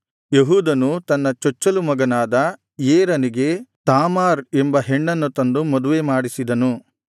ಯೆಹೂದನು ತನ್ನ ಚೊಚ್ಚಲು ಮಗನಾದ ಏರನಿಗೆ ತಾಮಾರ್ ಎಂಬ ಹೆಣ್ಣನ್ನು ತಂದು ಮದುವೆ ಮಾಡಿಸಿದನು